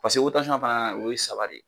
Paseke fana o ye saba de